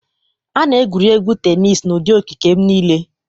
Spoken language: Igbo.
A na-egwuri egwu tenis n'ụdị okike m niile.